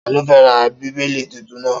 Ta ló fẹ́ ra Bíbélì tuntun náà?